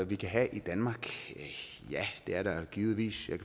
vi kan have i danmark ja det er der givetvis jeg